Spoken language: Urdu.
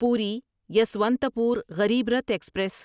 پوری یسوانتپور غریب رتھ ایکسپریس